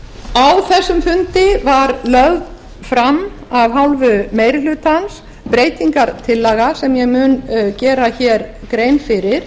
á þessum fundi var lögð fram af hálfu meiri hlutans breytingartillaga sem ég mun gera grein fyrir